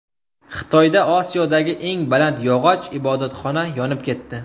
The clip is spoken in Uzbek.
Xitoyda Osiyodagi eng baland yog‘och ibodatxona yonib ketdi .